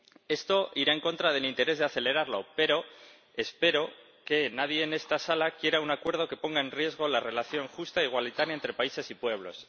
Esto irá en contra del interés de acelerarlo, pero espero que nadie en esta sala quiera un acuerdo que ponga en riesgo la relación justa e igualitaria entre países y pueblos.